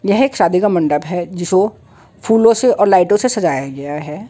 यह एक शादी का मंडप है जिसको फूलो से और लाइटों से सजाया गया हैं।